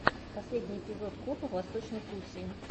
последний эпизод копа в восточной пруссии